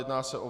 Jedná se o